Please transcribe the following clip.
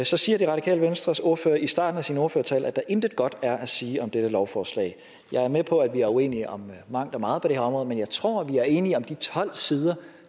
så siger radikale venstres ordfører i starten af sin ordførertale at der intet godt er at sige om dette lovforslag jeg er med på at vi er uenige om mangt og meget på det her område men jeg tror vi er enige om de tolv sider